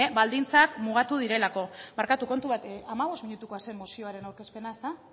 baldintzak mugatu direlako barkatu kontu bat hamabost minutukoa zen mozioaren aurkezpena ezta